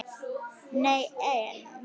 Nei, en.